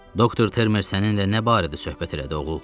Doktor Termer səninlə nə barədə söhbət elədi, oğul?